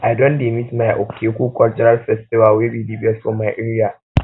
i don dey miss my okeaku cultural festival wey be dey best for my area